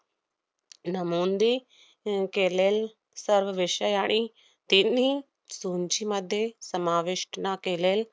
नमुंदी अह केलेल सर्व विषयाणी तिन्ही सूंचीमध्ये समाविष्टणा केलेल~